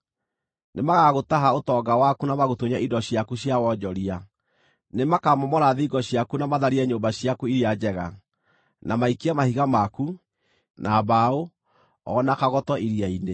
Nĩmagagũtaha ũtonga waku na magũtunye indo ciaku cia wonjoria; nĩmakamomora thingo ciaku na matharie nyũmba ciaku iria njega, na maikie mahiga maku, na mbaũ, o na kagoto iria-inĩ.